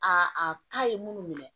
ta ye munnu minɛ